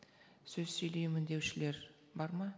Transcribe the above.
сөз сөйлеймін деушілер бар ма